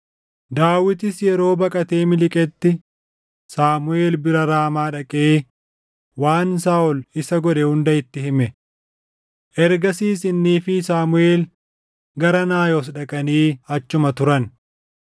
Daawitis yeroo baqatee miliqetti Saamuʼeel bira Raamaa dhaqee waan Saaʼol isa godhe hunda itti hime. Ergasiis innii fi Saamuʼeel gara Naayot dhaqanii achuma turan.